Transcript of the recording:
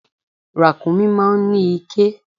Ràkúnmí máa ń ní iké.